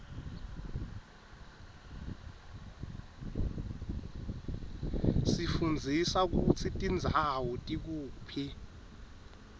sifundza kutsi tindzawo tikuphi